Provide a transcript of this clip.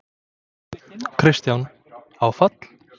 Kristján: Áfall?